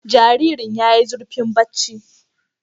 Jaririn' yayi zurfin bacci